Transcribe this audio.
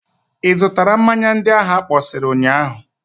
Ị zụtara mmanya ndị ahụ akpọsịrị ụnyaahụ?